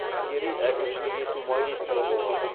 іскери әкімшілік ету магистрі болған